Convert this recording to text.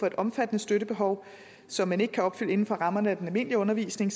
et omfattende støttebehov som man ikke kan opfylde inden for rammerne af den almindelige undervisning